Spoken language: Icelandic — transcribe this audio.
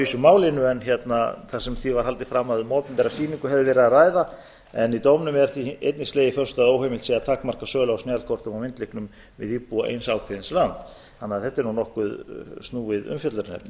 vísu málinu þar sem því var haldið fram að um opinbera sýningu væri að ræða en í dómnum er því einnig slegið föstu að óheimilt sé að takmarka sölu á snjallkortum og myndlyklum við íbúa eins ákveðins lands þannig að þetta er nokkuð snúið umfjöllunarefni